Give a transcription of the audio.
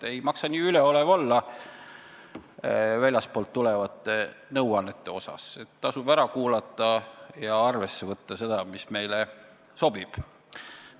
Ei maksa olla nii üleolev väljastpoolt tulevate nõuannete suhtes, tasub ära kuulata ja arvesse võtta seda, mis meile sobib.